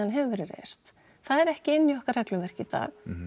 hefur verið reist það er ekki inni í okkar regluverki í dag